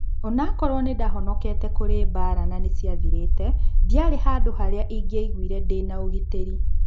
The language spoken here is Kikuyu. "Onakorwo nĩndahonokete kũrĩ mbara nanĩciathirĩte, ndiarĩ handũ harĩa ingĩaiguire ndĩnaũgitĩri."